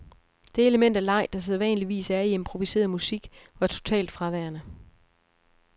Det element af leg, der sædvanligvis er i improviseret musik, var totalt fraværende.